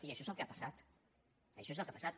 i això és el que ha passat això és el que ha passat